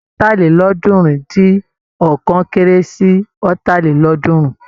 Ọ̀tàlélọ́ọ̀ọ́dúnrún-dín-ọ̀kan kéré sí Ọ̀tàlélọ́ọ̀ọ́dúnrún.